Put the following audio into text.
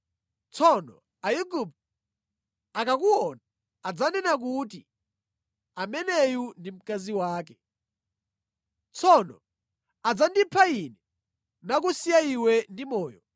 Tsono Aigupto akakuona adzanena kuti ‘Ameneyu ndi mkazi wake.’ Tsono adzandipha ine nakusiya iwe ndi moyo.